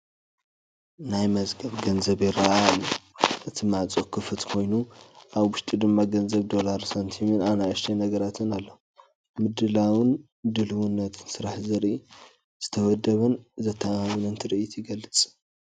ናይ መዝገብ ገንዘብ ይርአ ኣሎ፣ እቲ ማዕጾ ክፉት ኮይኑ፡- ኣብ ውሽጢ ድማ ገንዘብ ዶላር ሳንቲምን ንኣሽቶይ ነገራትን ኣሎ። ምድላውን ድልውነትን ስራሕ ዘርኢ ዝተወደበን ዘተኣማምንን ትርኢት ይገልፅ።